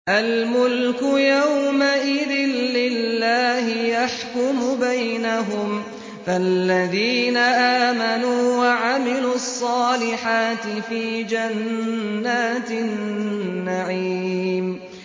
الْمُلْكُ يَوْمَئِذٍ لِّلَّهِ يَحْكُمُ بَيْنَهُمْ ۚ فَالَّذِينَ آمَنُوا وَعَمِلُوا الصَّالِحَاتِ فِي جَنَّاتِ النَّعِيمِ